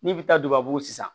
N'i bi taa dubabu sisan